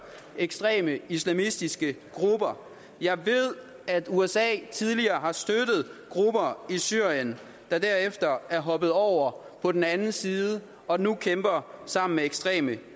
ekstreme islamistiske grupper jeg ved at usa tidligere har støttet grupper i syrien der derefter er hoppet over på den anden side og nu kæmper sammen med ekstreme